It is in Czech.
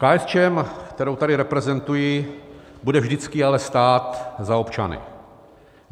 KSČM, kterou tady reprezentuji, bude vždycky ale stát za občany.